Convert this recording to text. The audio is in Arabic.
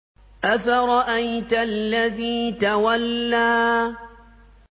أَفَرَأَيْتَ الَّذِي تَوَلَّىٰ